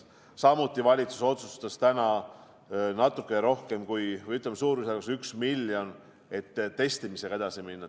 Samuti otsustas valitsus täna natukene rohkem kui miljoni või, ütleme, suurusjärgus 1 miljonit eraldada selleks, et testimisega edasi minna.